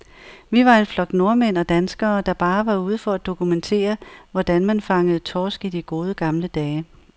Vi var en flok nordmænd og danskere, der bare var ude for at dokumentere, hvordan man fangede torsk i de gode, gamle dage.